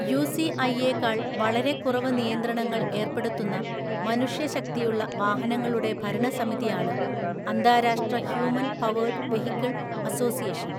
യുസിഐയേക്കാൾ വളരെ കുറവ് നിയന്ത്രണങ്ങൾ ഏർപ്പെടുത്തുന്ന മനുഷ്യശക്തിയുള്ള വാഹനങ്ങളുടെ ഭരണസമിതിയാണ് അന്താരാഷ്ട്ര ഹ്യൂമൻ പവേർഡ് വെഹിക്കിൾ അസോസിയേഷൻ.